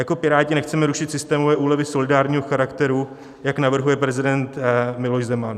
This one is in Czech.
Jako Piráti nechceme rušit systémové úlevy solidárního charakteru, jak navrhuje prezident Miloš Zeman.